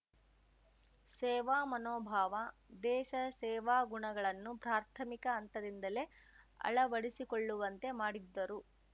ಸೇವಾ ಮನೋಭಾವ ದೇಶ ಸೇವಾ ಗುಣಗಳನ್ನು ಪ್ರಾರ್ಥಮಿಕ ಹಂತದಿಂದಲೇ ಅಳವಡಿಸಿಕೊಳ್ಳುವಂತೆ ಮಾಡಿದ್ದರು